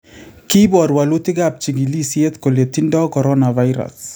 Kipor wolutikap chigilisyet kole tindo coronavirus